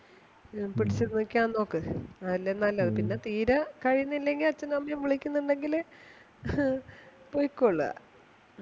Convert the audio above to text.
പിടിച്ച് നിക്കാൻ നോക്ക് അതല്ലേ നല്ലത് പിന്നെ തീരെ കഴിയുന്നില്ലെങ്കില് പോയ്ക്കോള മ്